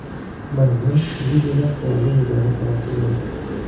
Maymun Liviyada qurolli nizoga sababchi bo‘ldi.